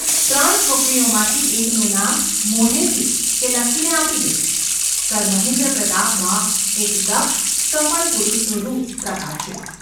ત્રણ છોકરીઓમાંથી એકનું નામ મોઢેથી કે લખીને આપી દે !’ સર મહેન્દ્રપ્રતાપમાં એક દક્ષ, સફળ પુરુષનું રૂપ પ્રકાશ્યું.